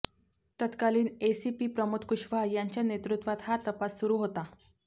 तत्कालीन एसीपी प्रमोद कुशवाह यांच्या नेतृत्वात हा तपास सुरु होता